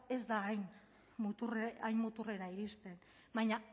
ez da hain muturrera iristen baina